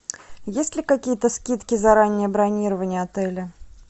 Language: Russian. есть ли какие то скидки за раннее бронирование отеля